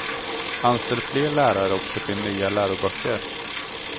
Anställ fler lärare och köp in nya läroböcker.